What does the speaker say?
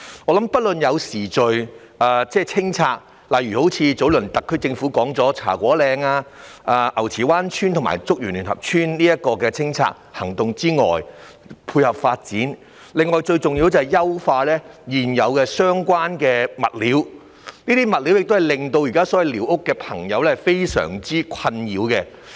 我認為除了有序進行清拆，例如特區政府早前所說的茶果嶺、牛池灣村和竹園聯合村清拆行動，以配合發展之外，最重要是必須優化現有相關物料，因這問題現時令寮屋居民深感困擾。